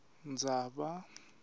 ndzaba